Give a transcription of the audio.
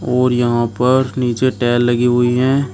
और यहां पर नीचे टाइल लगी हुई हैं।